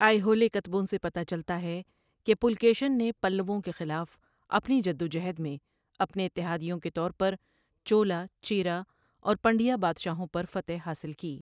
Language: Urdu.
آئیہولے کتبوں سے پتہ چلتا ہے کہ پُلکیشن نے پلّووں کے خلاف اپنی جدوجہد میں اپنے اتحادیوں کے طور پر چولا، چیرا اور پنڈیا بادشاہوں پر فتح حاصل کی۔